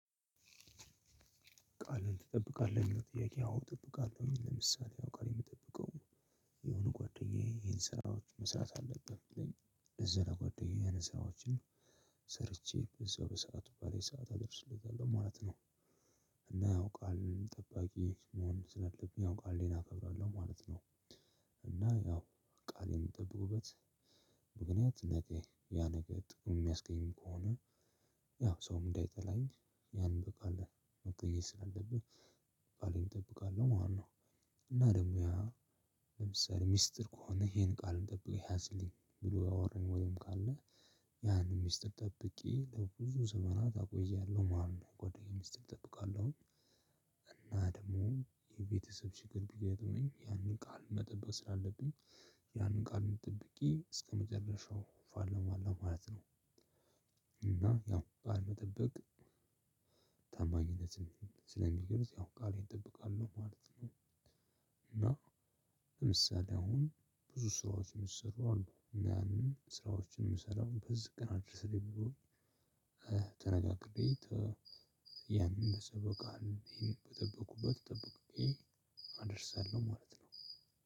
ቃልህን ትጠብቃለህ ለሚለው ጥያቄ? አዎ እጠብቃለሁ ለምሳሌ አሁን ቃሌን የምጠብቀው የሆነ ጓደኛዬ ይሄን ስራዎች መስራት አለብህ ካለኝ ከዛ ለጓደኛዬ ይሄን ስራዎችን። ቃልህን ትጠብቃለህ ለሚለው ጥያቄ? አዎ እጠብቃለሁ ለምሳሌ አሁን ቃሌን የምጠብቀው የሆነ ጓደኛዬ ይሄን ስራዎች መስራት አለብህ ካለኝ ከዛ ለጓደኛዬ ይሄን ስራዎችን። ምክንያት ነገ ያ ነገር ሰውን የሚያስቀይም ከሆነ ያው ሰውም እንዳይጠላኝ ያን እንበቃለን መቀየር ስላለብህ ቃሌን እጠብቃለሁ ማለት ነው። እና ደግሞ ያ ለምሳሌ ሚስጥር ከሆነ ይሄን ቃል ጠብቀህ ያዝልኝ ብሎ ያወራኝ ወይም ካለ ያንን ሚስጥር ጠብቄ ለብዙ ዘመናት አቆያለሁ ማለት ነው። የጓደኛዬ ሚስጥር እጠብቃለሁ። እና ደግሞ የቤተሰብ ችግር ቢገጥመኝ ያንን ቃል መጠበቅ ስላለብኝ ያንን ቃሉን ጠብቄ እስከ መጨረሻው እፋለማለሁ ማለት ነው። እና ያው ቃል መጠበቅ ታማኝነትን ስለሚገልጽ ያው ቃሌን እጠብቃለሁ ማለት ነው። እና ለምሳሌ አሁን ብዙ ስራዎችን ሚሰሩ አሉ ያንን ስራዎችን ምሰራው አሁን በዚህ ቀን አድርስልኝ ብሎ። ተነጋግሬ ያንን ባሰበው ቀን ይሄን በጠበቁበት ጠብቄ አደርሳለው ማለት ነው።